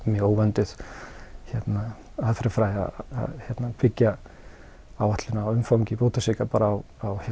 mjög óvönduð aðferðafræði að byggja áætlun á umfangi bótasvika bara á